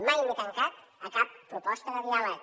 mai m’he tancat a cap proposta de diàleg